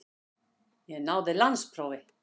Ég náði landsprófi.